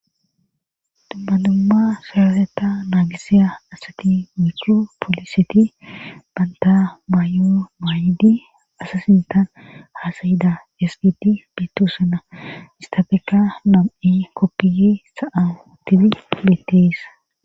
Dumma dumma saraseta naagisiya asati micho pooliseti banta mayo maayidi asa sintan haasayida sgidi bittosana istabeeka nom7i koppiyi sa'a utibi betteesssa.